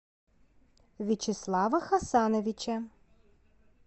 вячеслава хасановича